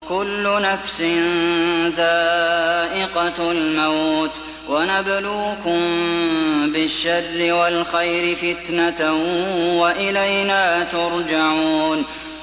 كُلُّ نَفْسٍ ذَائِقَةُ الْمَوْتِ ۗ وَنَبْلُوكُم بِالشَّرِّ وَالْخَيْرِ فِتْنَةً ۖ وَإِلَيْنَا تُرْجَعُونَ